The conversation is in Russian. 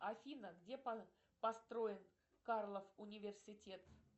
афина где построен карлов университет